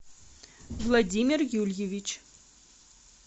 владимир юльевич